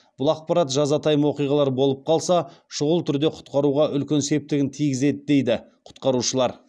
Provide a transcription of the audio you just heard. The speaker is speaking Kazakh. бұл ақпарат жазатайым оқиғалар болып қалса шұғыл түрде кұтқаруға үлкен септігін тигізеді дейді құтқарушылар